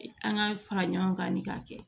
An ka fara ɲɔgɔn kan ni k'a kɛ